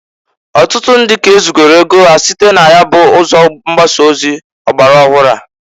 Ọtụtụ ndị ka e zugoro ego ha site na ya ụzọ mgbasa ozi ọgbara ọhụrụ a.